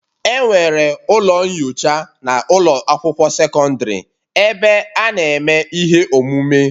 Enwere ụlọ nyocha na ụlọ akwụkwọ sekọndrị ebe a na-eme ihe omume